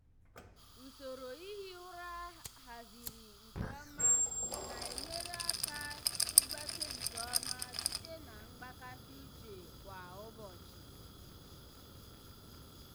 usoro ihi ụra a haziri nke ọma na-enyere ya aka ịgbake nke ọma site na mgbakasị uche kwa ụbọchị.